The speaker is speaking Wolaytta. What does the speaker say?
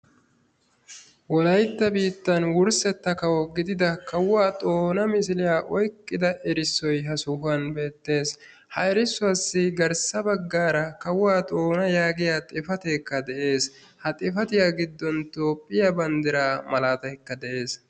wollaytta biittaan wurssetta kawo gidida kawuwaa xoona misiliyaa oyqqida misiliyaa oyqqida erissoy ha sohuwaan beettees. ha erissuwaasi garssa baggaara kawuwaa xoona yaagiyaa xifateekka de'ees. ha xifaatiyaa giddon toophiyaa banddiraa malataykka de"ees.